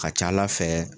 Ka ca ala fɛ